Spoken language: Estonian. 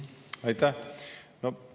Aitäh!